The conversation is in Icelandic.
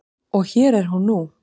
Og hér er hún nú.